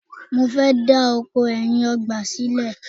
mo fẹ da oko ẹyin ọgbà sílẹ